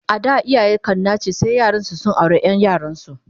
A da iyaye kan nace sai yaransu su aure Ƴan yaransu